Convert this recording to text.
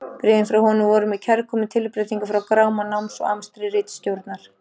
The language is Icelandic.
Bréfin frá honum voru mér kærkomin tilbreyting frá gráma náms og amstri ritstjórnar.